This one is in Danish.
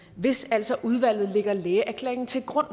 hvis altså udvalget lægger lægeerklæringen til grund